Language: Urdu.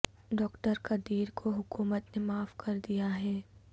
ڈاکٹر قدیر کو حکومت نے معاف کر دیا ہے